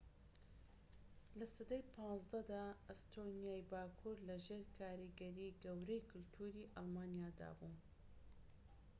لە سەدەی ١٥ دا، ئەستۆنیای باكوور لەژێر کاریگەریەکی گەورەی کەلتوری ئەلمانیادا بوو